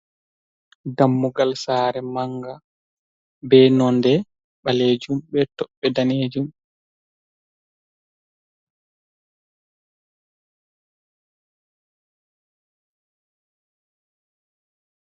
Dammugal sare manga, be nonde balejum be tobbe danejum.